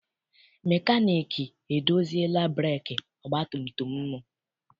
Mekaniiki edoziela breekị ọgbatumtum m.